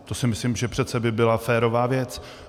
To si myslím, že přece by byla férová věc.